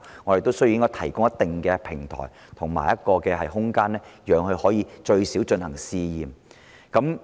我們亦需要提供一定的平台和空間，讓業界最少可以進行試驗。